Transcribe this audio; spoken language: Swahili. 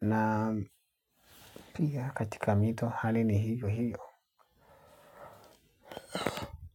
Na pia katika mito hali ni hio hio.